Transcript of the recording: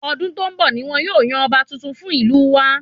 Ọdún tó n bọ ní wọn yóò yan ọba tuntun fún ìlú wa